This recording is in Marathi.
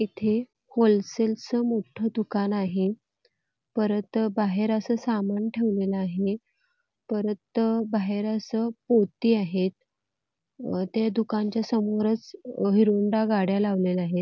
इथे होलसेलच मोठं दुकान आहे परत बाहेर असं सामान ठेवलेलं आहे परत बाहेर असं पोती आहेत दुकानाच्या समोर हिरो होंडा गाड्या लावल्या आहेत|